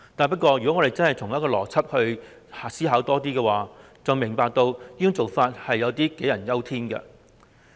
不過，只要切實作出更多邏輯思考，便會明白這種想法未免是杞人憂天。